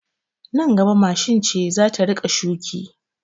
Nan gaba mashin ce za ta rika shuki